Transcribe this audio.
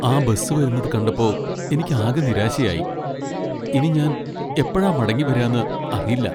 ആ ബസ് വരുന്നത് കണ്ടപ്പോ എനിക്ക് ആകെ നിരാശയായി . ഇനി ഞാൻ എപ്പോഴാ മടങ്ങി വരാന്ന് അറിയില്ല.